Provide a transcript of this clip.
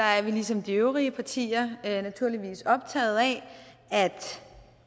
er vi ligesom de øvrige partier naturligvis optaget af at